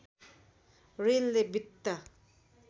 ऋणले वित्त